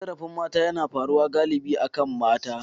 Cin zarafin mata yana faruwa galibi akan mata.